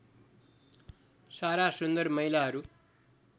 सारा सुन्दर महिलाहरू